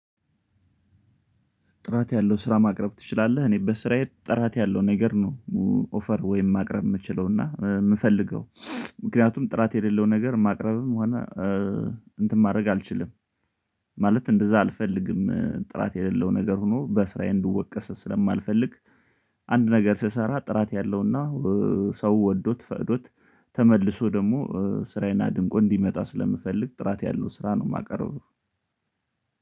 ጥራት ያለው ስራ ማቅረብ ትችላለህ? እኔ በስራዬ ጥራት ያለው ነገር ነው። ኦፈር ወይም ማቅረብ የምችለውና የምፈልገው ምክንያቱም ጥራት የሌለው ነገር ማቅረብም ሆነ እንትን ማድረግ አልችልም። ማለት እንደዛ አልፈልግም ጥራት የሌለው ነገር ሆኖ በስራዬ እንድወቀስ ስለማልፈልግ። አንድ ነገር ስሰራ ጥራት ያለው እና ሰው ወዶት ፈቅዶት ተመልሶ ደግሞ ስራዬን አድንቆ እንዲመጣ ስለምፈልግ ጥራት ያለው ስራ ነው የማቀርበው።